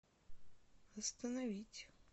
остановить